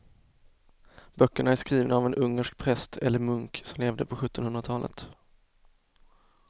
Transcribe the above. Böckerna är skrivna av en ungersk präst eller munk som levde på sjuttonhundratalet.